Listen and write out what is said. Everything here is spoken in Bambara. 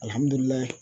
Alihamudulila